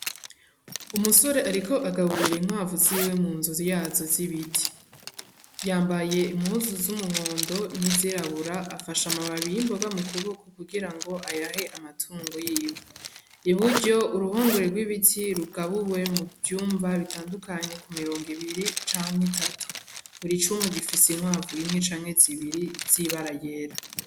Umusore ariko agaburira inkwavu ziwe mu nzu yazo z'ibiti, yambaye impuzu z'umuhondo niz'irabura afashe amababi y'imboga mu kuboko kugira ngo ayahe amatungo yiwe, iburyo uruhongore rw'ibiti rugabuwemwo muvyumba bitandukanye kum'imirongo ibiri canke itatu, buri cumba gifise inkwavu imwe canke zibiri z'ibara ryera.